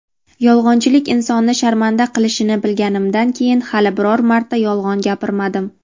Yolg‘onchilik insonni sharmanda qilishini bilganimdan keyin hali biror marta yolg‘on gapirmadim.